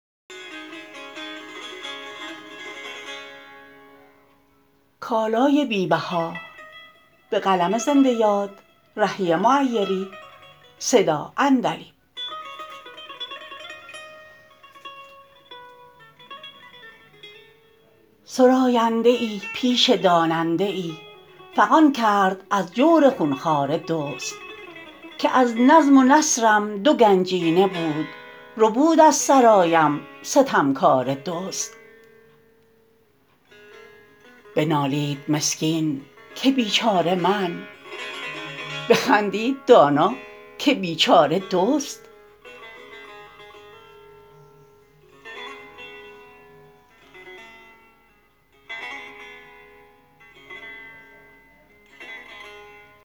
سراینده ای پیش داننده ای فغان کرد از جور خونخواره دزد که از نظم و نثرم دو گنجینه بود ربود از سرایم ستمکاره دزد بنالید مسکین که بیچاره من بخندید دانا که بیچاره دزد